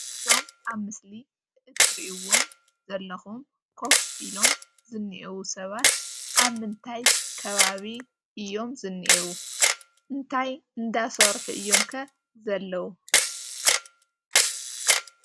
እዞም ኣብ ምስሊ እትሪእዎም ዘለኹም ኮፍ ኢሎም ዝንኤዉ ሰባት ኣብ ምንታይ ከባቢ እዮም ዝንኤዉ? እንታይ እንዳሰርሑ እዮም ከ ዘለዉ?